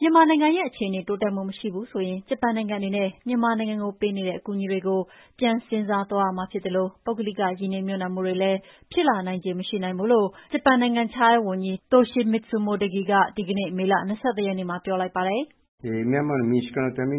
မြန်မာနိုင်ငံရဲ့အခြေအနေ တိုးတက်မှုမရှိဘူးဆိုရင် ဂျပန်နိုင်ငံအနေနဲ့ မြန်မာနိုင်ငံကိုပေးနေတဲ့ အကူအညီတွေကို ပြန်စဉ်းစားသွားရမှာ ဖြစ်သလို ပုဂ္ဂလိကရင်းနှီးမြှုပ်နှံမှုတွေလည်း ဖြစ်လာနိုင်ချေမရှိနိုင်ဘူးလို့ ဂျပန်နိုင်ငံခြားဝန်ကြီး Toshimitsu Motegi က ဒီနေ့ မေလ ၂၁ ရက်နေ့မှာ ပြောလိုက်ပါတယ်။ “ဒီအခြေအနေအတိုင်း ဆက်ပ